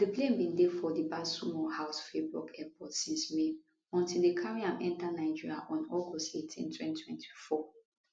di plane bin dey for di basle mulhouse freiburg airport since may until dem carry am enta nigeria on august 18 2024